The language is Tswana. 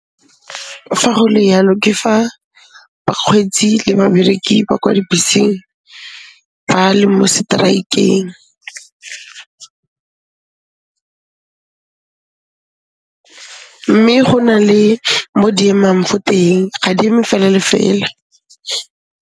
Fa go le yalo ke fa bakgweetsi le babereki ba kwa dibeseng ba le mo seteraekeng, mme go na le mo di emang fo teng, ga di eme fela le fela.